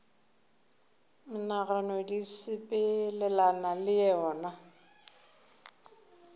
menagano di sepelelana le yona